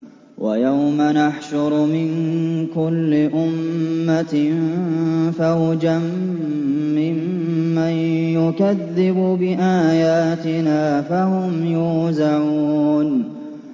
وَيَوْمَ نَحْشُرُ مِن كُلِّ أُمَّةٍ فَوْجًا مِّمَّن يُكَذِّبُ بِآيَاتِنَا فَهُمْ يُوزَعُونَ